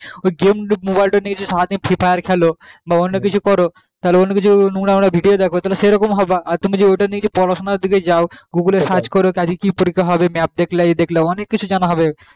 ওই game mobile নিয়ে জি সারাদিন free fire খেলো বা অন্যকিছু করো তাহলে অন্য কিছু নোংরা নোংরা video দ্যাখো সেই রকম হবা আর তুমি যে ওটা নিয়ে পড়াশোনা দিকে যাও google এ search করো আজকে কি পরীক্ষা হবে map দেখলা ই দেখলা অনেক কিছুই জানা হবে